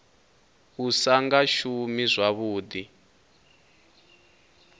u sa nga shumi zwavhuḓi